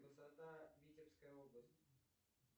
высота витебская область